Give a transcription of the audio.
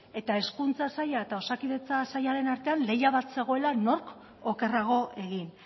eta hezkuntza saila eta osakidetza sailaren artean lehia bat zegoela nork okerrago egin